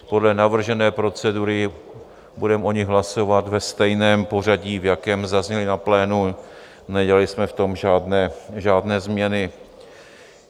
Podle navržené procedury budeme o nich hlasovat ve stejném pořadí, v jakém zazněly na plénu, nedělali jsme v tom žádné změny.